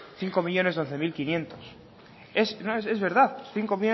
bost milioi hamabi mila bostehun es verdad cinco